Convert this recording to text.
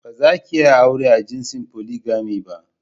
Bazakiyi aure a jinsin "polygamy " ba.